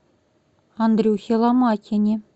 андрюхе ломакине